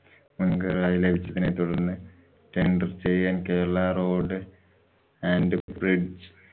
ച്ചതിനെ തുടര്‍ന്ന് tendor ചെയ്യാന്‍ Kerala road and bridge